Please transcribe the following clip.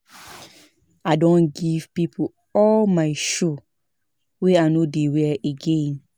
I don give pipo all my shoe wey I no dey wear again.